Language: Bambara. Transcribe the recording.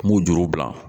N b'u juru bila